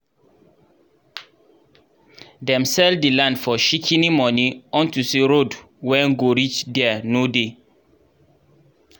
dem sell the land for shikini money unto say road wen go reach der nor dey